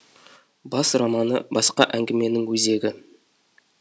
бас романы басқа әңгіменің өзегі